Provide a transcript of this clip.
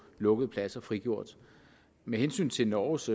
lukkede pladser frigjort med hensyn til norges